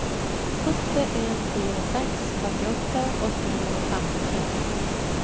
åtte en fire seks trettiåtte åtte hundre og femtitre